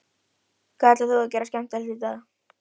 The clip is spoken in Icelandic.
Hvað ætlar þú að gera skemmtilegt í dag?